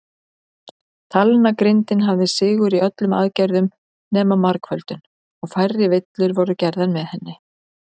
Talnagrindin hafði sigur í öllum aðgerðum nema margföldun, og færri villur voru gerðar með henni.